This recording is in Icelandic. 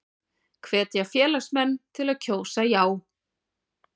Hvetja félagsmenn til að kjósa já